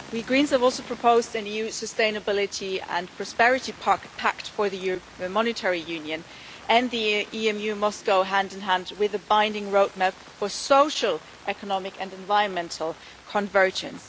We Greens have also proposed an EU sustainability and prosperity pact for the European Monetary Union and the EMU must go hand in hand with a binding roadmap for social, economic and environmental convergence.